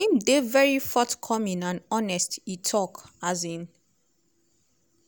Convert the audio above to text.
im dey very forthcoming and honest" e tok. um